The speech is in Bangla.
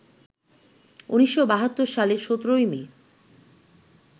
১৯৭২ সালের ১৭ই মে